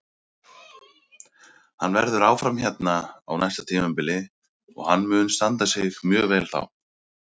Hann verður áfram hérna á næsta tímabili og hann mun standa sig mjög vel þá.